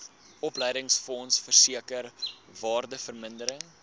opleidingsfonds versekering waardevermindering